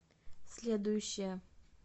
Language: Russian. следующая